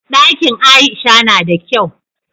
Ɗakin aisha nada kyau